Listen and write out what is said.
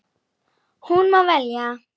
Hún má velja.